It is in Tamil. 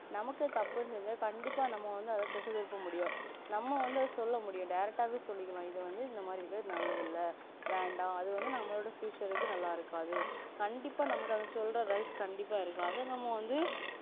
நமக்கு தப்புன்னு தேரிஞ்சா கண்டிப்பா நம்ம வந்து தட்டி கேட்க முடியும் நம்ம வந்து சொல்ல முடியும் direct ஆஹ் சொல்லிக்கலா இதுவந்து இந்த மாதிரி இறுக்கு அது நல்லது இல்ல வேண்டா அதுவந்து அதுவந்து நம்மளோட future க்கு நல்லா இருக்காது கண்டிப்பா அத சொல்ற rights கண்டிப்பா இருக்கு அத நாம வந்து